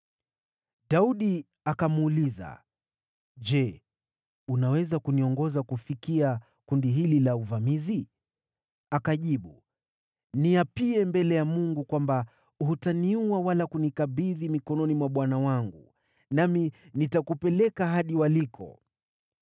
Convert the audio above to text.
Daudi akamuuliza, “Je, unaweza kuniongoza kufikia kundi hili la uvamizi?” Akajibu, “Niapie mbele ya Mungu kwamba hutaniua wala kunikabidhi mikononi mwa bwana wangu, nami nitakupeleka hadi waliko.”